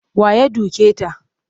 Wa ya duke ta?